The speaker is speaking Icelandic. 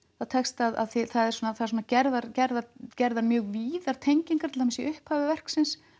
það tekst af því það eru gerðar gerðar gerðar mjög víðar tengingar til dæmis í upphafi verksins